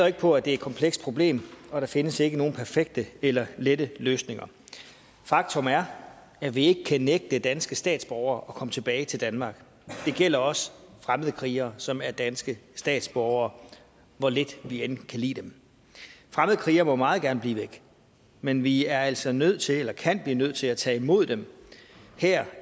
ikke på at det er et komplekst problem og der findes ikke nogen perfekte eller lette løsninger faktum er at vi ikke kan nægte danske statsborgere at komme tilbage til danmark det gælder også fremmedkrigere som er danske statsborgere hvor lidt vi end kan lide dem fremmedkrigere må meget gerne blive væk men vi er altså nødt til eller kan blive nødt til at tage imod dem her